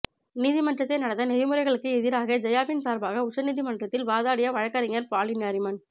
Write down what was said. நீதிமன்ற நடத்தை நெறிமுறைகளுக்கு எதிராக ஜெயாவின் சார்பாக உச்சநீதி மன்றத்தில் வாதாடிய வழக்குரைஞர் ஃபாலி நாரிமன்